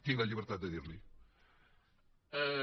tinc la llibertat de dir li ho